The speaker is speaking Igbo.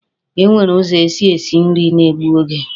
E nwere ụzọ e si esi nri na-egbu oge.